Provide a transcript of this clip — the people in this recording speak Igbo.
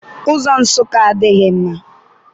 Ụzọ Nsụka adịghị mma.